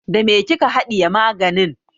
Da me kika haɗiye maganin?